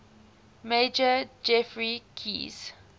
major geoffrey keyes